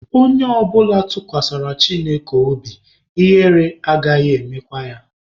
Onye ọbụla tụkwasara Chineke obi, ihere anaghị emekwa ya.